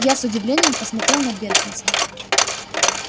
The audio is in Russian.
я с удивлением посмотрел на бедренца